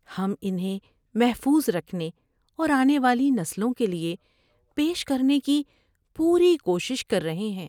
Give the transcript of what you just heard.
ہم انہیں محفوظ رکھنے اور آنے والی نسلوں کے لیے پیش کرنے کی پوری کوشش کر رہے ہیں۔